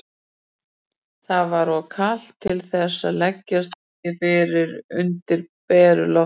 Það var of kalt til þess að leggjast fyrir undir beru lofti.